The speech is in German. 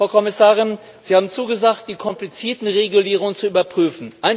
Frau Kommissarin, Sie haben zugesagt, die komplizierten Regulierungen zu überprüfen.